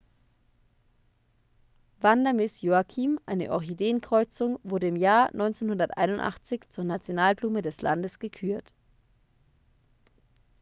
vanda miss joaquim eine orchideenkreuzung wurde im jahr 1981 zur nationalblume des landes gekürt